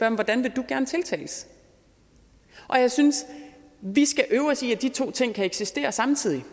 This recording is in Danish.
om hvordan vil du gerne tiltales jeg synes vi skal øve os i at de to ting kan eksistere samtidig